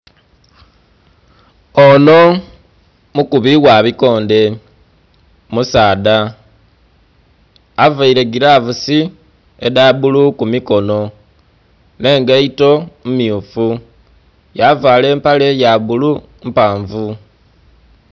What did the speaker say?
Onho mukubi ghabikondhe, musaadha avaire giravusi edhabbulu kumikono, nh'engaito mmyufu, yavala empale yabbulu mpanvu.